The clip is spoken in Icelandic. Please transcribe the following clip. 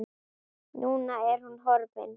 Núna er hún horfin.